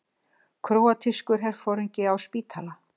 Króatískur herforingi á spítala